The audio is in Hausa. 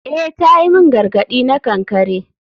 Eh ta yi min gargadi na kankare.